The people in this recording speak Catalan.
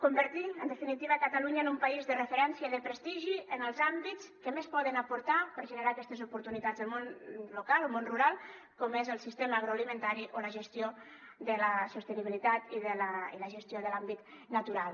convertir en definitiva catalunya en un país de referència i de prestigi en els àmbits que més poden aportar per generar aquestes oportunitats al món local o al món rural com és el sistema agroalimentari o la gestió de la sostenibilitat i la gestió de l’àmbit natural